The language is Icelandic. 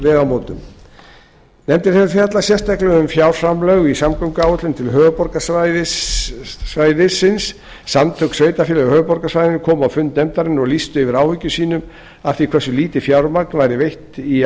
vegamótum nefndin hefur fjallað sérstaklega um fjárframlög í samgönguáætlun til höfuðborgarsvæðisins samtök sveitarfélaga á höfuðborgarsvæðinu komu á fund nefndarinnar og lýstu yfir áhyggjum sínum af því hversu lítið fjármagn væri veitt í